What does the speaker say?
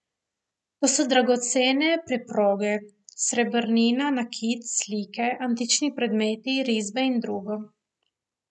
To so dragocene preproge, srebrnina, nakit, slike, antični predmeti, risbe in drugo.